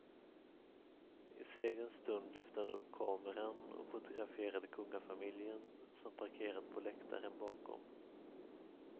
I segerns stund lyfte han upp kameran och fotograferade kungafamiljen, som parkerat på läktaren bakom.